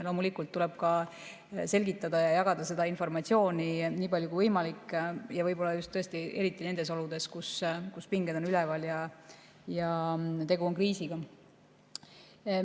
Loomulikult tuleb ka selgitada ja jagada seda informatsiooni nii palju kui võimalik, võib-olla tõesti eriti nendes oludes, kus pinged on üleval ja tegu on kriisiga.